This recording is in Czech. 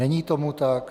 Není tomu tak.